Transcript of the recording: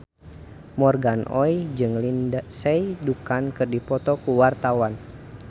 Morgan Oey jeung Lindsay Ducan keur dipoto ku wartawan